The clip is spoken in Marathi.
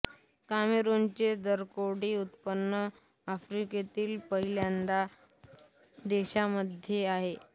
कामेरूनचे दरडोई उत्पन्न आफ्रिकेतील पहिल्या दहा देशांमध्ये आहे